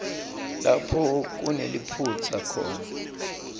lapho kuneliphutsa khona